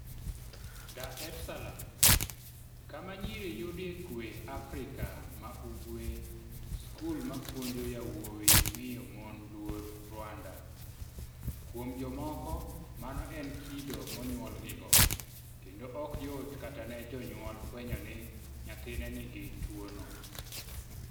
Dar es Salaam - Kama Nyiri Yudie Kuwe Afrika ma Ugwe Skul mapuonjo yawuowi miyo mon luor Rwanda Kuom jomoko, mano en kido monyuolgigo, kendo ok yot kata ne janyuol fwenyo ni nyathine nigi tuwono.